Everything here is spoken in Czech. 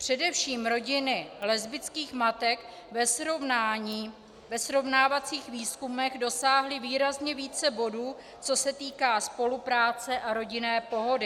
Především rodiny lesbických matek ve srovnávacích výzkumech dosáhly výrazně více bodů, co se týká spolupráce a rodinné pohody.